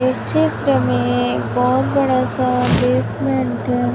इस चित्र में एक बहुत बड़ा सा बेसमेंट है।